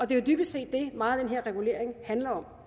det er jo dybest set det meget af den her regulering handler om